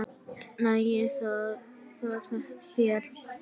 Nægir það þér?